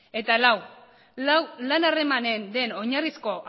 eta lau lan harremanen den oinarrizko